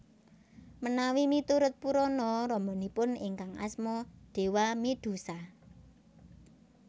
Menawi miturut Purana ramanipun ingkang Asma Dewamidhusa